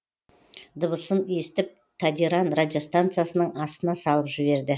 дыбысын естіп тадиран радиостанциясының астына салып жіберді